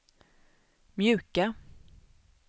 mjuka